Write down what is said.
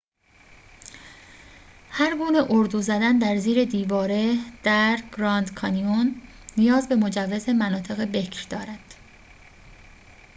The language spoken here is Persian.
هرگونه اردو زدن در زیر دیواره در گراند کانیون نیاز به مجوز مناطق بکر دارد